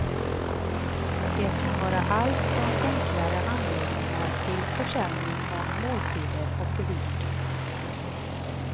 Det kan vara allt från enklare anläggningar till försäljning av måltider och ved.